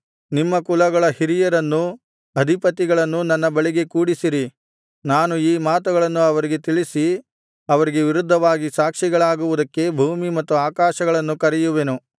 ನಿಮ್ಮ ಕುಲಗಳ ಹಿರಿಯರನ್ನೂ ಅಧಿಪತಿಗಳನ್ನೂ ನನ್ನ ಬಳಿಗೆ ಕೂಡಿಸಿರಿ ನಾನು ಈ ಮಾತುಗಳನ್ನು ಅವರಿಗೆ ತಿಳಿಸಿ ಅವರಿಗೆ ವಿರುದ್ಧವಾಗಿ ಸಾಕ್ಷಿಗಳಾಗುವುದಕ್ಕೆ ಭೂಮಿ ಮತ್ತು ಆಕಾಶಗಳನ್ನು ಕರೆಯುವೆನು